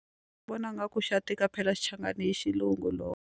Vona nga ku xa tika phela xichangani i xilungu .